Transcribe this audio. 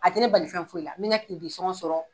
A tɛ ne bali fɛn foyi la n mɛ ka sɔngɔ sɔrɔ.